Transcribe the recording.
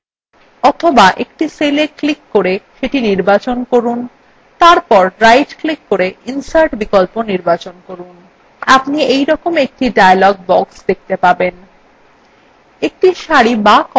অথবা একটি cella click করে সেটি নির্বাচন করুন তারপর right click করে insert বিকল্প নির্বাচন করুন আপনি এইরকম একটি dialog box দেখতে পাবেন